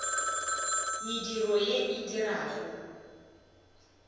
mediro ye a e dirago